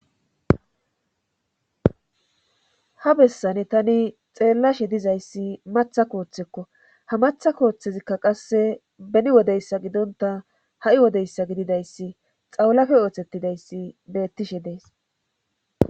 ha bessane tani xeellashe dizayssi matha kooththekko ha matha kooththezikka qasse beni wodeyssa gidonta ha7i wodeyssa gididayssi xawlafe ooththettidayssi beettishe dees